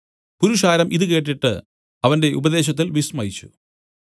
പുരുഷാരം ഇതു കേട്ടിട്ട് അവന്റെ ഉപദേശത്തിൽ വിസ്മയിച്ചു